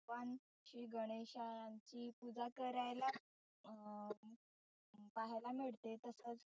भगवानची गणेशाची पुजा करायला अं पहायला मिळते. तसच